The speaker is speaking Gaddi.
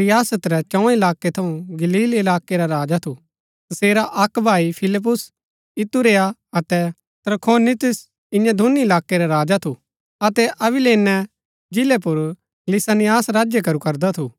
रियासत रै चौं इलाकै थऊँ गलील इलाकै रा राजा थू तसेरा अक्क भाई फिलिप्पुस इतूरैया अतै त्रखोनितिस ईयां दूनी इलाकै रा राजा थू अतै अबिलेने जिलै पुर लिसानियास राज्य करू करदा थू